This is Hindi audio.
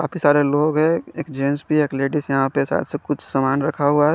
काफी सारे लोग है। एक जेंट्स भी है। एक लेडिज यहां पे सा सा कुछ सामान रखा हुआ है।